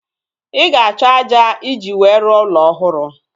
Ị ga-achọ ájá iji wee rụọ ụlọ ọhụrụ